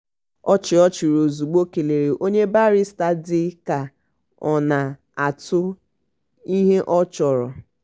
ọchị ọ chịrị ozugbo kelere onye barịsta dị ka ọ na-atụ ihe ọ chọrọ.